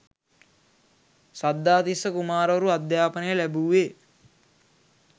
සද්ධාතිස්ස කුමාරවරු අධ්‍යාපනය ලැබූවේ